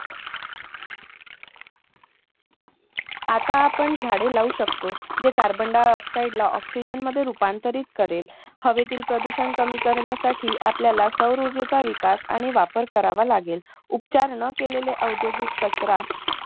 आता आपण झाडे लावू शकतो. जे carbon dioxide ला oxygen मध्ये रूपांतरित करेल. हवेतील प्रदूषण करण्यासाठी आपल्याला सौरऊर्जेचा विकास आणि वापर करावा लागेल. उपचार न केलेले औद्योगिक कचरा